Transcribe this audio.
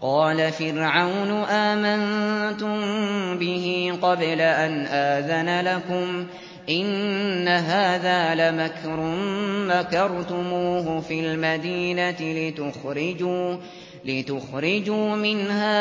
قَالَ فِرْعَوْنُ آمَنتُم بِهِ قَبْلَ أَنْ آذَنَ لَكُمْ ۖ إِنَّ هَٰذَا لَمَكْرٌ مَّكَرْتُمُوهُ فِي الْمَدِينَةِ لِتُخْرِجُوا مِنْهَا